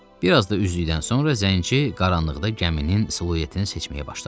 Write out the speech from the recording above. Bir az da üzdükdən sonra zənci qaranlıqda gəminin siluetini seçməyə başladı.